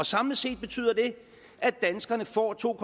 samlet set betyder det at danskerne får to